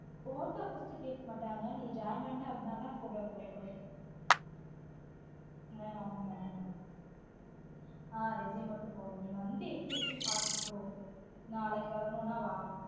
photo first கேட்க மாட்டாங்க நீ joint பண்ணிட்ட அப்டினா தான் photo தேவைப்படும் ஆஹ் ஆமா ஆமா ஆஹ் resume மட்டும் போதும் வந்து எப்டி இருக்குனு பார்த்துட்டு போ நாளைக்கு வரனும்னா வா